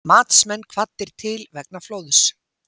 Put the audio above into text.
Matsmenn kvaddir til vegna flóðs